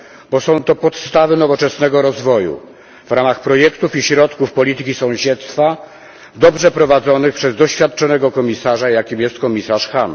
bo są to podstawy nowoczesnego rozwoju w ramach projektów i środków polityki sąsiedztwa dobrze prowadzonych przez doświadczonego komisarza, jakim jest komisarz Hahn.